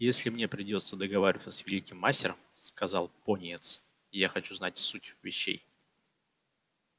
если мне придётся договариваться с великим мастером сказал пониетс я хочу знать суть вещей